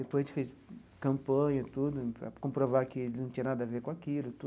Depois a gente fez campanha tudo para comprovar que ele não tinha nada a ver com aquilo.